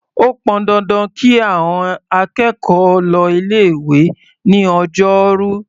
Ó pọn dandan kí àọn akẹ́kọ̀ọ́ lọ ilé-ìwé ní Ọjọ́rú.